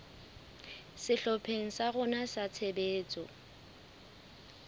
sehlopheng sa rona sa tshebetso